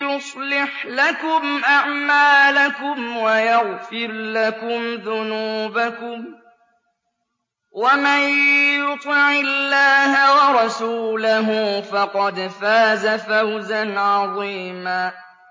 يُصْلِحْ لَكُمْ أَعْمَالَكُمْ وَيَغْفِرْ لَكُمْ ذُنُوبَكُمْ ۗ وَمَن يُطِعِ اللَّهَ وَرَسُولَهُ فَقَدْ فَازَ فَوْزًا عَظِيمًا